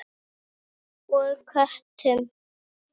Og köttum.